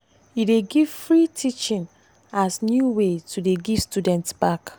he dey give free teaching as new way to dey give students back.